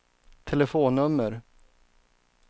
telefonnummer